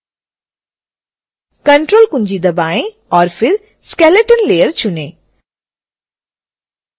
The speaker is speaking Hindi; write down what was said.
ctrl कुंजी दबाएं और फिर skeleton layer चुनें